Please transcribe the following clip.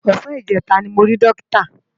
Òsàn ijètá ni mó ri Dókitá